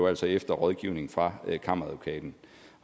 altså efter rådgivning fra kammeradvokaten